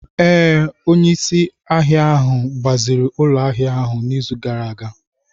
Ee, onye isi ahịa ahụ gbaziri ụlọ ahịa ahu n'izu gara aga.